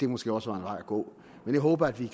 måske også en vej at gå men jeg håber at vi